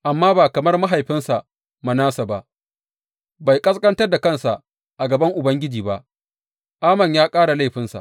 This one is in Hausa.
Amma ba kamar mahaifinsa Manasse ba, bai ƙasƙantar da kansa a gaban Ubangiji ba; Amon ya ƙara laifinsa.